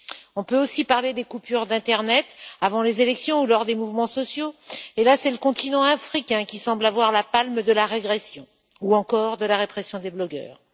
On peut aussi parler des coupures d'internet avant les élections ou lors des mouvements sociaux et là, c'est le continent africain qui semble avoir la palme de la régression ou encore de la répression des blogueurs.